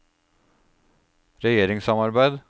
regjeringssamarbeid